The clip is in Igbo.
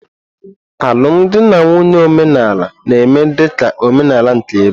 Alụmdi na nwunye omenala na-eme dị ka omenala nke ebe.